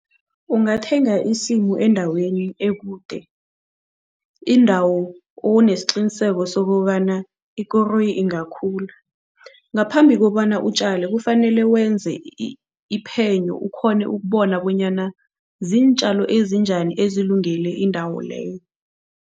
Ungathenga isimu endaweni ekude, indawo onesiqiniseko sokobana ikoroyi ingakhula. Ngaphambi kobana utjale, kufanele wenze iphenyo ukghone ukubona bonyana ziintjalo ezinjani ezilungele indawo leyo.